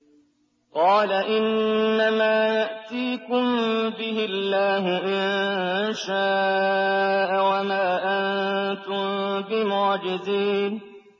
قَالَ إِنَّمَا يَأْتِيكُم بِهِ اللَّهُ إِن شَاءَ وَمَا أَنتُم بِمُعْجِزِينَ